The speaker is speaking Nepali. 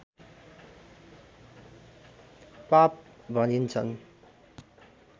पाप भनिन्छन्